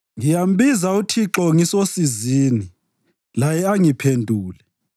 Ngiyambiza uThixo ngisosizini, laye angiphendule.